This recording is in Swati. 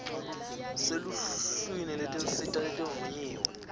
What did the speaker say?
seluhlwini lwetinsita letivunyiwe